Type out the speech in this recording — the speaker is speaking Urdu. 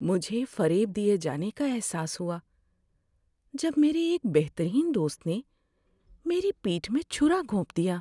مجھے فریب دیے جانے کا احساس ہوا جب میرے ایک بہترین دوست نے میری پیٹھ میں چھرا گھونپ دیا۔